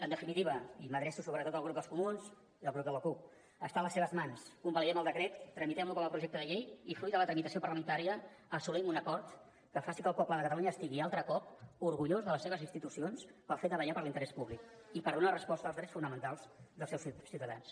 en definitiva i m’adreço sobretot al grup dels comuns i al grup de la cup està a les seves mans convalidem el decret tramitem lo com a projecte de llei i fruit de la tramitació parlamentària assolim un acord que faci que el poble de catalunya estigui altre cop orgullós de les seves institucions pel fet de vetllar per l’interès públic i per donar resposta als drets fonamentals dels seus ciutadans